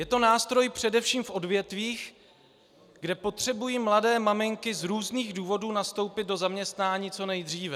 Je to nástroj především v odvětvích, kde potřebují mladé maminky z různých důvodů nastoupit do zaměstnání co nejdříve.